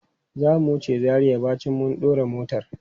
Zamu wuce Zaria bayan mun dora motar.